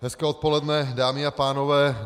Hezké odpoledne dámy a pánové.